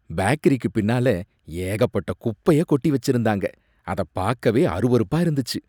பேக்கரிக்கு பின்னால ஏகப்பட்ட குப்பைய கொட்டி வச்சிருந்தாங்க அத பாக்கவே அருவருப்பா இருந்துச்சு